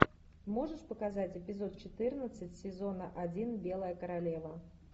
можешь показать эпизод четырнадцать сезона один белая королева